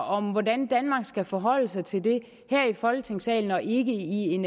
om hvordan danmark skal forholde sig til det her i folketingssalen og ikke i en